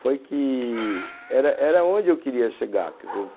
Foi que era era onde eu queria chegar, quer dizer, eu